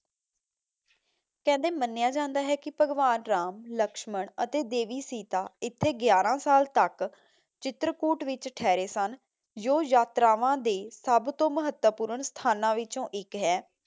ਕਹਿੰਦੇ ਮੰਨਿਆ ਜਾਂਦਾ ਹੈ ਕਿ ਭਗਵਾਨ ਰਾਮ, ਲਕਸ਼ਮਣ ਅਤੇ ਦੇਵੀ ਸੀਤਾ ਇੱਥੇ ਗਿਆਰਾਂ ਸਾਲ ਤਕ ਚਿਤਰਕੂਟ ਵਿਚ ਠਹਿਰੇ ਸਨ, ਜੋ ਯਾਤਰਾਵਾਂ ਦੇ ਸਭ ਤੋਂ ਮਹੱਤਵਪੂਰਨ ਸਥਾਨਾਂ ਵਿਚੋਂ ਇਕ ਹੈ।